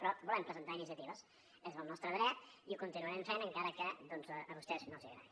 però volem presentar iniciatives és el nostre dret i ho continuarem fent encara que a vostès no els agradi